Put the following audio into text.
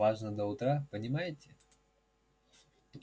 важно до утра понимаете